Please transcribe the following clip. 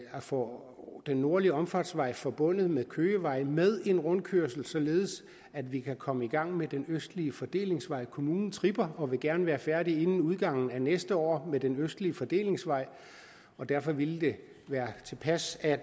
får den nordlige omfartsvej forbundet med køgevej med en rundkørsel således at vi kan komme i gang med den østlige fordelingsvej kommunen tripper og vil gerne være færdig inden udgangen af næste år med den østlige fordelingsvej og derfor ville det være tilpas at